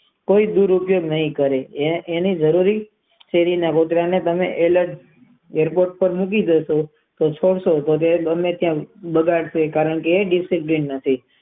કઈ ગુરુ એ નઈ કરી એને જરૂરી માટે શેરી ના કૂતરાને તમે રખડતું મૂકી દેજો તે નિરાશ થઇ જશે તે ડિસિઝન નથી.